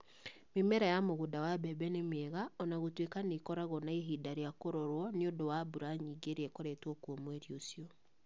Mĩmera ya mũgũnda wa mbembe nĩ mĩega o na gũtuĩka nĩ ĩkoragwo na ihinda rĩa kũrorwo nĩ ũndũ wa mbura nyĩngĩ iria ikoretwo kuo mweri ũcio.